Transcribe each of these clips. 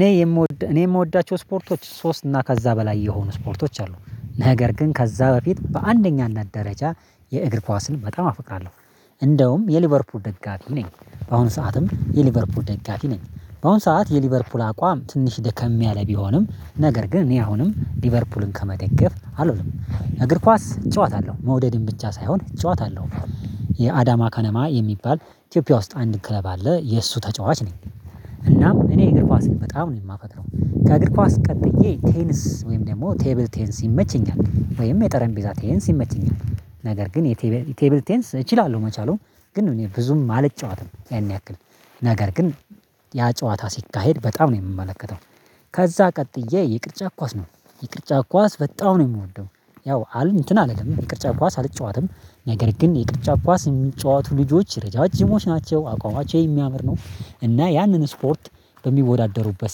እኔ የምወድ እኔ የምወዳቸው ስፖርቶች ሶስት እና ከዛ በላይ የሆኑ ስፖርቶች አሉ፤ ነገር ግን ከዛ በፊት በአንደኛና ደረጃ የእግር ኳስን በጣም አፈቅራለሁ። እንደውም የሊቨርፑል ደጋፊ ነኝ በአሁኑ ሰዓትም የሊቨርፑል ደጋፊ ነኝ በአሁን ሰዓት የሊቨርፑል አቋም ትንሽ ደከም ያለ ቢሆንም ነገር ግን እኔ አሁንም ሊቨርፑልን ከመተገፍ አልውልም። እግር ኳስ እጨዋታለሁ መውደድም ብቻ ሳይሆን እጨዋታለሁ። የአዳማ ከነማ የሚባል ኢትዮጵያ ውስጥ አንድ ክለብ አለ የእሱ ተጫዋች ነኝ እናም እኔ እግር ኳስን በጣም ነው የማፈቅረው ከእግር ኳስ ቀጥዬ ቴንስ ወይም ደግሞ ቴብል ቴንስ ይመቸኛል ወይም የጠረቤዛ ቴንስ ይመቸኛል። ነገር ግን የቴብል ቴብል ቴንስ እችላለሁ መቻሉን ግን ብዙም አልጫወትም ያን ያክል ነገር ግን ያ ጨዋታ ሲካሄድ በጣም ነው የምመለከተው ከዛ ቀጥዬ የቅርጫት ኳስ ነው የቅርጫት ኳስ በጣም ነው የምወደው ያው አል እንትን አለ ይቅርጫ ኳስ አልጫወትም ነገር ግን የቅርጫ ኳስ የሚጫወቱ ልጆች ረዣዥሞች ናቸው አቋማቸው የሚያምር ነው እና ያንን ስፖርት በሚወዳደሩበት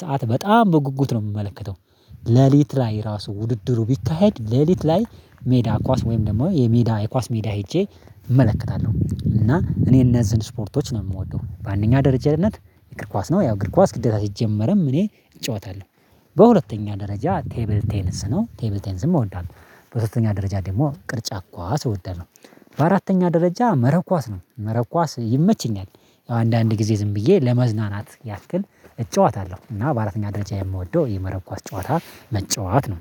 ሰዓት በጣም በጉጉት ነው የምመለከተው። ሌሊት ላይ ራሱ ውድድሩ ቢካሄድ ሌሊት ላይ ሜዳ ኳስ ወይም ደግሞ የሜዳ የኳስ ሜዳ ሄጄ እመለከታለሁ እና እኔ እነዚህን ስፖርቶች ነው የምወደው በአንደኛ ደረጃነት የእግር ኳስ ነው ያው እግር ኳስ ሲጀመርም እኔ እጫወታለሁ። በሁለተኛ ደረጃ ቴብል ቴንስ ነው ቴብል ቴንስም እወዳለሁ። በሶስተኛ ደረጃ ደግሞ ቅርጫት ኳስ እወዳለሁ። በአራተኛ ደረጃ መረብ ኳስ ነው። መረብ ኳስ ይመቸኛል ያው አንዳንድ ጊዜ ዝም ብዬ ለመዝናናት ያክል እጨዋታለሁ እና በአራተኛ ደረጃ የምወደው የመረብ ኳስ ጨዋታ መጫወት ነው።